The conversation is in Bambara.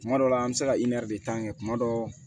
Kuma dɔ la an bɛ se ka tan kɛ kuma dɔ